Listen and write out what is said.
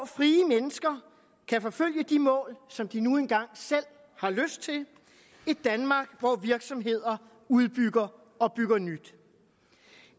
frie mennesker kan forfølge de mål som de nu engang selv har lyst til et danmark hvor virksomheder udbygger og bygger nyt